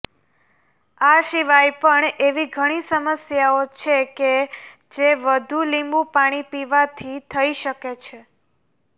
આ સિવાય પણ એવી ઘણી સમસ્યાઓ છેકે જે વધુ લીંબુ પાણી પીવાથી થઇ શકે છે